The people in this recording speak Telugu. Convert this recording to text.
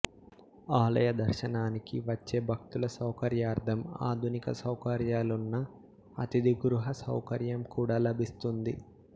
ఆలయదర్శనానికి వచ్చే భక్తుల సౌకర్యార్ధం ఆధునిక సౌకర్యాలున్న అతిథిగృహ సౌకర్యం కూడా లభిస్తుంది